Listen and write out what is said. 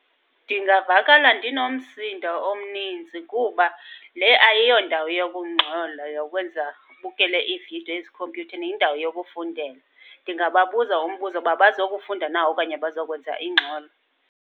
Ndingavakala ndinomsindo omninzi kuba le ayiyo ndawo yokungxola, yokwenza ubukele iividiyo ezikhompyutheni, yindawo yokufundela. Ndingababuza umbuzo uba bazokufunda okanye bazokwenza ingxolo.